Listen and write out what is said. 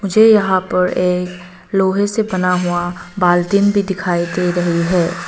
मुझे यहां पर एक लोहे से बना हुआ बाल्टिन भी दिखाई दे रही है।